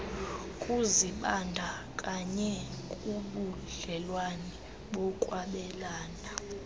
kuzibandakanya kubudlelwane bokwabelana